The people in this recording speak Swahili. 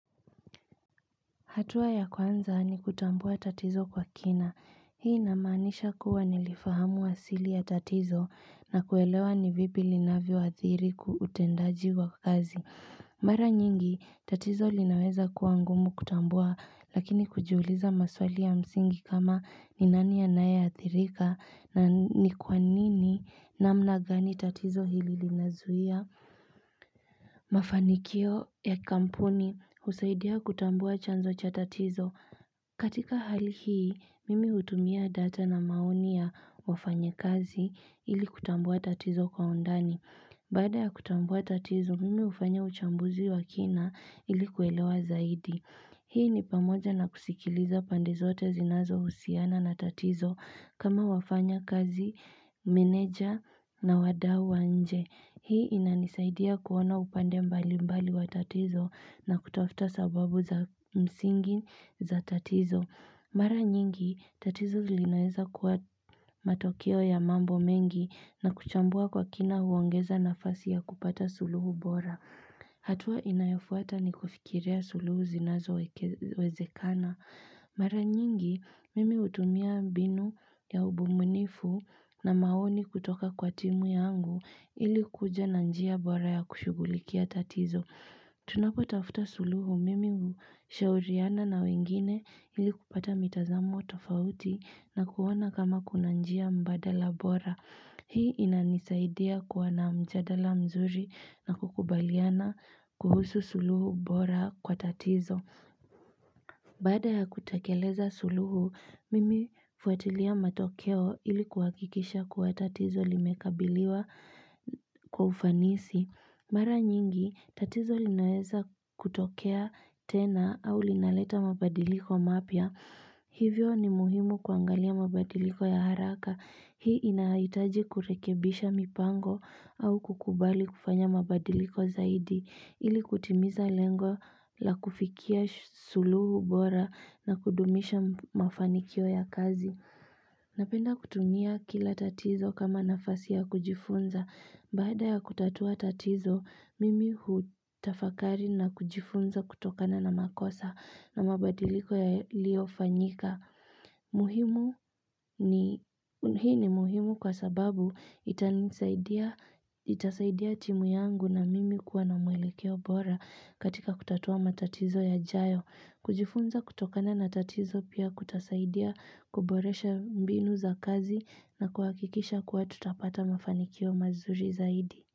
Hatua ya kwanza ni kutambua tatizo kwa kina. Hii inamaanisha kuwa nilifahamu asili ya tatizo na kuelewa ni vipi linavyoathiri utendaji wa kazi. Mara nyingi, tatizo linaweza kuwa ngumu kutambua, lakini kujiuliza maswali ya msingi kama ni nani anayeathirika, na ni kwa nini namna gani tatizo hili linazuia. Mafanikio ya kampuni husaidia kutambua chanzo cha tatizo. Katika hali hii, mimi hutumia data na maoni ya wafanyakazi ili kutambua tatizo kwa undani. Baada ya kutambua tatizo, mimi hufanya uchambuzi wa kina ili kuelewa zaidi. Hii ni pamoja na kusikiliza pande zote zinazo husiana na tatizo kama wafanyakazi, meneja na wadau wa nje. Hii inanisaidia kuona upande mbalimbali wa tatizo na kutafuta sababu za msingi za tatizo. Mara nyingi, tatizo linaweza kuwa matokeo ya mambo mengi na kuchambua kwa kina huongeza nafasi ya kupata suluhu bora. Hatua inayofuata ni kufikiria suluhu zinazowezekana. Mara nyingi, mimi hutumia mbinu ya ubunifu na maoni kutoka kwa timu yangu ili kuja na njia bora ya kushughulikia tatizo. Tunapotafuta suluhu mimi hushauriana na wengine ili kupata mitazamo tofauti na kuona kama kuna njia mbadala bora. Hii inanisaidia kua na mjadala mzuri na kukubaliana kuhusu suluhu bora kwa tatizo. Baada ya kutekeleza suluhu, mimi hufuatilia matokeo ili kuhakikisha kuwa tatizo limekabiliwa kwa ufanisi. Mara nyingi, tatizo linaweza kutokea tena au linaleta mabadiliko mapia. Hivyo ni muhimu kuangalia mabadiliko ya haraka. Hii inaitaji kurekebisha mipango au kukubali kufanya mabadiliko zaidi. Ili kutimiza lengo la kufikia suluhu bora na kudumisha mafanikio ya kazi. Napenda kutumia kila tatizo kama nafasi ya kujifunza. Bada ya kutatua tatizo, mimi hutafakari na kujifunza kutokana na makosa na mabadiliko yaliyofanyika. Muhimu ni hii ni muhimu kwa sababu Itasaidia timu yangu na mimi kuwa na mwelekeo bora katika kutatua matatizo yajayo. Kujifunza kutokana na tatizo pia kutasaidia kuboresha mbinu za kazi na kuhakikisha kuwa tutapata mafanikio mazuri zaidi.